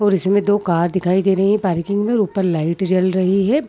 और इसमें दो कार दिखाई दे रही है पार्किंग भी और ऊपर लाइट भी जल रही है।